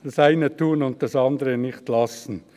Das eine tun und das andere nicht lassen.